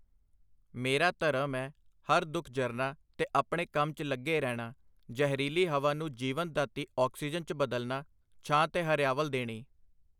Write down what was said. ਮੇਰਾ ਧਰਮ ਏ ਹਰ ਦੁੱਖ ਜਰਨਾ ਤੇ ਆਪਣੇ ਕੰਮ 'ਚ ਲੱਗੇ ਰਹਿਣਾ, ਜਹਿਰੀਲੀ ਹਵਾ ਨੂੰ ਜੀਵਨ ਦਾਤੀ ਆਕਸੀਜਨ 'ਚ ਬਦਲਨਾ , ਛਾਂ ਤੇ ਹਰਿਆਵਲ ਦੇਣੀ .